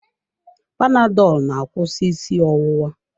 Panadolu na-akwụsị ọwụwa.